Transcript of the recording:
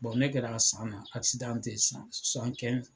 ne kɛra a san na tɛ yen sisan